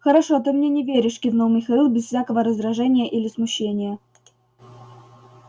хорошо ты мне не веришь кивнул михаил без всякого раздражения или смущения